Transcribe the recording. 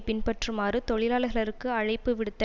பின்பற்றுமாறு தொழிலாளர்களுக்கு அழைப்பு விடுத்த